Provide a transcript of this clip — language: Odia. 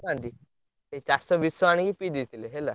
ପକାଉନାହାନ୍ତି ସେ ଚାଷ ବିଷ ଆଣି ପିଇ ଦେଇଥିଲେ ହେଲା।